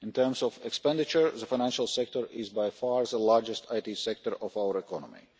In terms of expenditure, the financial sector is by far the largest IT sector of our economy.